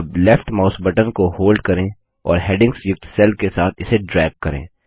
अब left mouse button को hold करें और हैडिंग्स युक्त सेल्स के साथ इसे ड्रैग करें